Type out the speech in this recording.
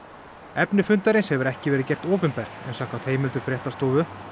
efni fundarins hefur ekki verið gert opinbert en samkvæmt heimildum fréttastofu